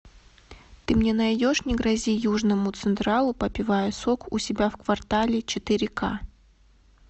ты мне найдешь не грози южному централу попивая сок у себя в квартале четыре ка